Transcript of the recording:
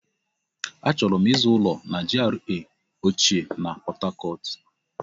Achọrọ m ịzụ ụlọ na GRA ochie na Pọt Hacọt.